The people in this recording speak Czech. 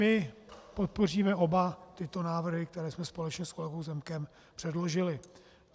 My podpoříme oba tyto návrhy, které jsme společně s kolegou Zemkem předložili.